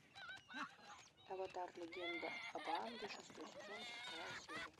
аватар легенда об аанге шестой сезон сороковая серия